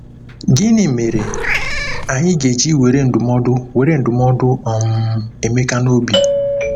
Gịnị mere anyị ga-eji were ndụmọdụ were ndụmọdụ um Emeka n’obi?